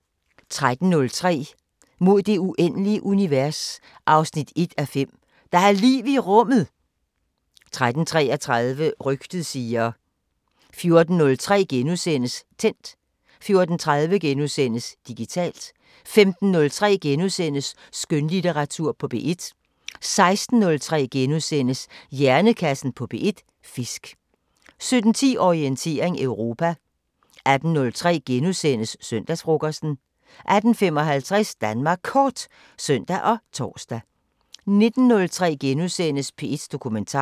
13:03: Mod det uendelige univers 1:5 – Der er liv i rummet! 13:33: Rygtet siger 14:03: Tændt * 14:30: Digitalt * 15:03: Skønlitteratur på P1 * 16:03: Hjernekassen på P1: Fisk * 17:10: Orientering Europa 18:03: Søndagsfrokosten * 18:55: Danmark Kort (søn og tor) 19:03: P1 Dokumentar *